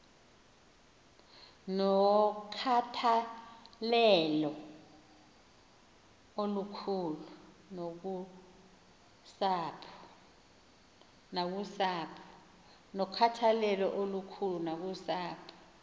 nokhathalelo olukhulu nakusapho